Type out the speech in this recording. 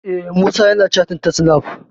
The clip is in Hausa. Eh, Musa yana cattin ta snaf